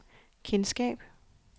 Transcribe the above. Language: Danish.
kendskab